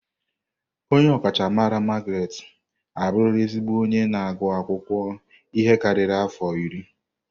Onye ọkachamara Margaret abụrụla ezigbo onye na-agụ akwụkwọ ihe karịrị afọ iri.